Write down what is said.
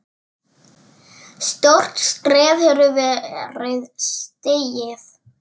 Stórt skref hefur verið stigið.